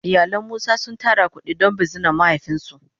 Iyalin musa sun tara kudi don bizinan mahaifin su.